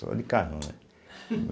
Só de carrão, né.